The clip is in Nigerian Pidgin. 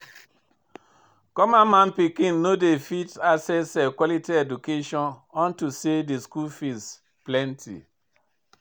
Common man pikin no go fit access quality education unto say de school fees plenty.